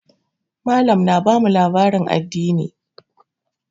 Mallam na bamu labarin addini.